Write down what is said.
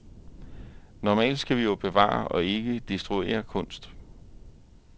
Normalt skal vi jo bevare og ikke destruere kunst.